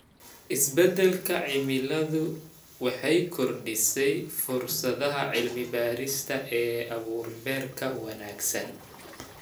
Isbeddelka cimiladu waxay kordhisay fursadaha cilmi-baarista ee abuur-beereedka wanaagsan.